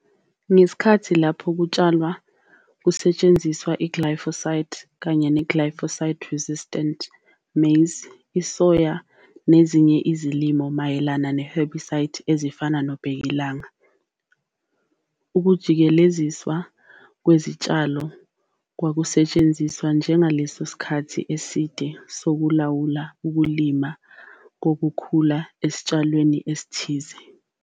Ngesikhathi lapho kutshalwa kungasetshenziswa iglyphosate neglyphosate resistant maize, isoya nezinye izilimo ezimelana namaherbicide ezifana nobhekilanga. Ukujikeleziswa kwezitshalo kwakusetshenziswa njengesu lesikhathi eside sokulawula ukumila kokhula esitshalweni esithize.